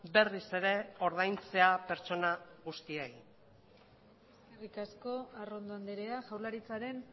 berriz ere ordaintzea pertsona guztiei eskerrik asko arrondo andrea jaurlaritzaren